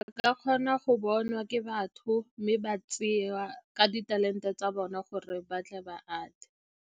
Re ka kgona go bonwa ke batho, mme ba tsewa ka ditalente tsa bona gore ba tle ba atle.